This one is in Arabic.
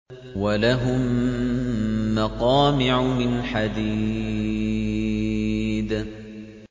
وَلَهُم مَّقَامِعُ مِنْ حَدِيدٍ